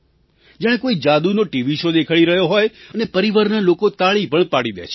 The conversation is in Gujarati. જાણે કોઈ જાદુનો ટીવી શૉ દેખાડી રહ્યો હોય અને પરિવારના લોકો તાળી પણ પાડી દે છે